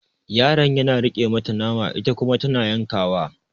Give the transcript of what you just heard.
Yaron yana riƙe mata naman ita kuma tana yanka wa